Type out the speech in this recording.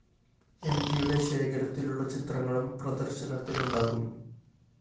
എംടിയുടെ ശേഖരത്തിലുള്ള ചിത്രങ്ങളും പ്രദര്‍ശനത്തിലുണ്ടാകും